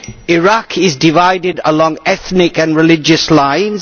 Iraq is divided along ethnic and religious lines.